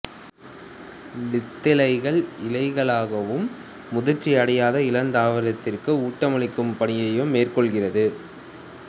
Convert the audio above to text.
வித்திலைகள் இலைகளாகவும் முதிர்ச்சி அடையாத இளந்தாவரத்திற்கு ஊட்டமளிக்கும் பணியையும் மேற்கொள்கிறது